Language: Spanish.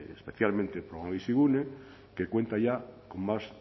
especialmente el programa bizigune que cuenta ya con más